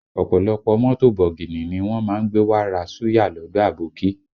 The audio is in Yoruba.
Ọ̀pọ̀lọpọ̀ mọ́tò bọ̀gìnì ni wọ́n má ń gbé wá ra Suya lọdọ abókí